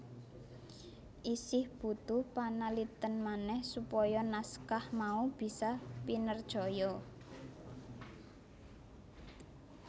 Isih butuh panalitèn manèh supaya naskah mau bisa pinercaya